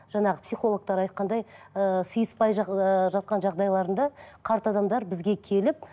жаңағы психологтар айтқандай ыыы сыйыспай ыыы жатқан жағдайларында қарт адамдар бізге келіп